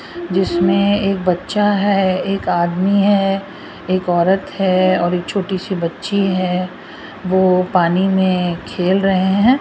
जिसमें एक बच्चा है एक आदमी है एक औरत है और एक छोटी सी बच्ची है वो पानी में खेल रहे हैं।